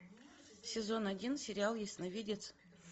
сезон один сериал ясновидец